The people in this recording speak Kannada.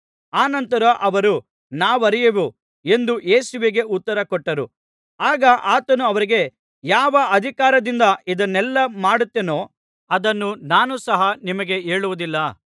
ಅನಂತರ ಅವರು ನಾವರಿಯೆವು ಎಂದು ಯೇಸುವಿಗೆ ಉತ್ತರಕೊಟ್ಟರು ಆಗ ಆತನು ಅವರಿಗೆ ಯಾವ ಅಧಿಕಾರದಿಂದ ಇದನ್ನೆಲ್ಲಾ ಮಾಡುತ್ತೇನೋ ಅದನ್ನು ನಾನು ಸಹ ನಿಮಗೆ ಹೇಳುವುದಿಲ್ಲ